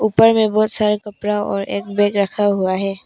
ऊपर में बहुत सारा कपड़ा और एक बैग रखा हुआ है।